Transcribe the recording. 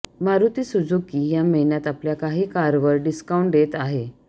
Maruti Suzuki या महिन्यात आपल्या काही कारवर डिस्काउंट देत आहे